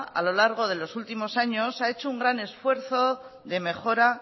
a lo largo de los últimos años ha hecho un gran esfuerzo de mejora